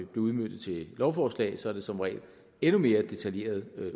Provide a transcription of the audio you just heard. udmøntet til lovforslag så er det som regel endnu mere detaljeret